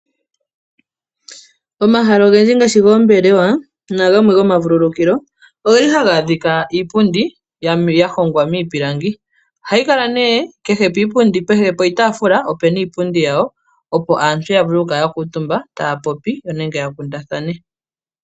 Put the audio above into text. Omahala ogendji ngaashi goombelewa nenge gomavululukilo. Ogeli haga adhika iipundi yahongwa miipilangi. Ohayi kala nee kehe poshitaafula opuna iipundi yapo opo aantu ya vule oku kala ya kuutumbe etaya kundathana.